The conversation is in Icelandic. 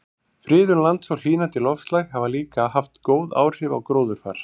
Friðun lands og hlýnandi loftslag hafa líka haft góð áhrif á gróðurfar.